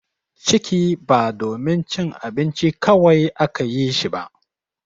Ciki ba domin cin abinci kawai aka yi shi ba.